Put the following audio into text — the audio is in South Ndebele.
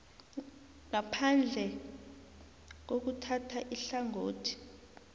ngaphandle kokuthatha ihlangothi